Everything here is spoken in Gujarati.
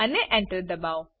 અને Enter દબાઓ